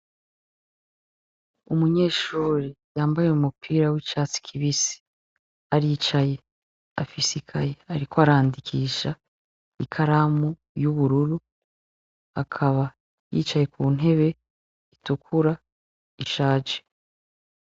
Umunyeshuri yambaye mumupira w'icatsi kibisi aricaye afisikaye, ariko arandikisha ikaramu y'ubururu akaba yicaye ku ntebe itukura ishaje.